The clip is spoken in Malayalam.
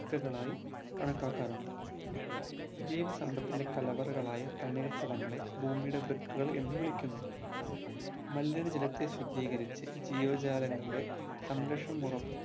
വൃക്കളായി കണക്കാക്കാറുണ്ട്‌ ജീവസമ്പത്തിൻ്റെ കലവറകളായ തണ്ണീർത്തടങ്ങളെ ഭൂമിയുടെ വൃക്കകൾ എന്നുവിളിക്കുന്നു മലിന ജലത്തെ ശുദ്ധികരിച്ച് ജീവ ജാലകങ്ങളുടെ സംരക്ഷണം ഉറപ്പ്